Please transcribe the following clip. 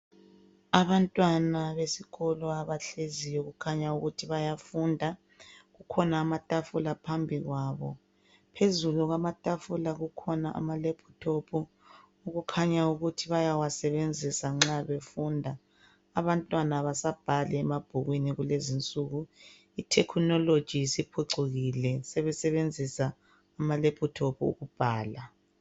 Abantwana besikolo abahleziyo kukhanya ukuthi bayafunda kukhona amatafula phambi kwabo , phezulu kwamatafula kukhona ama laptop okukhanya ukuthi bayawasebenzisa nxa befunda , abantwana abasabhali emabhukwini kukezinsuku I technology siphucukile sebesebenzisa ama laptop ukubhala